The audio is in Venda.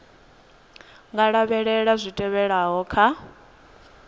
nga lavhelela zwi tevhelaho kha